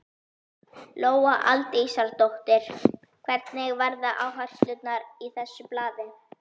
Lóa Aldísardóttir: Hverjar verða áherslurnar í þessu blaði?